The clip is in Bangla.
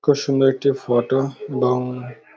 খুব সুন্দর একটি ফটো বাউন --